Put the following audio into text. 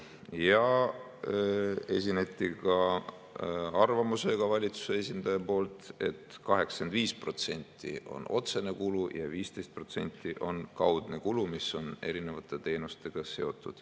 Valitsuse esindaja esines ka arvamusega, et 85% on otsene kulu ja 15% on kaudne kulu, mis on seotud erinevate teenustega.